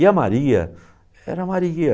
E a Maria era a Maria.